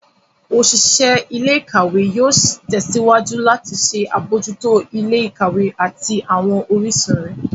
Oṣiṣẹ ilé-ìkawe yóò tèsíwájú lati ṣe abojuto ilé-ìkawe ati awọn orisun rẹ.